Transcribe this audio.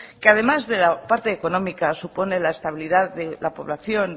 que además de la parte económica supone la estabilidad de la población